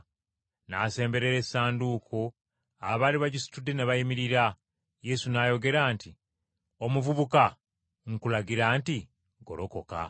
N’asemberera essanduuko, abaali bagisitudde ne bayimirira, Yesu n’ayogera nti, “Omuvubuka, nkulagira nti ggolokoka!”